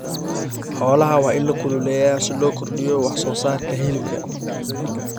Xoolaha waa in la kululeeyaa si loo kordhiyo wax soo saarka hilibka.